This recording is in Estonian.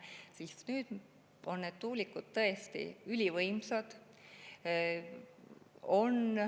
Aga tuulikud on tõesti ülivõimsad.